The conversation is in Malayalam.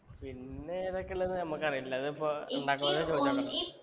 പിന്നെ ഏതൊക്കെ ഉള്ളെന്ന് നമ്മക്കറീല്ല പതിപ്പോ ഇണ്ടാക്കുന്നവരോട്